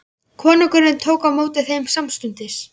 Konungur tók á móti þeim samstundis.